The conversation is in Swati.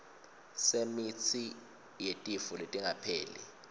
semitsi yetifo letingapheli